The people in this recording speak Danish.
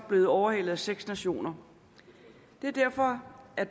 blevet overhalet af seks nationer det er derfor at